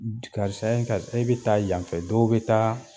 Karisa karisa e bɛ taa yanfɛ dɔw bɛ taa.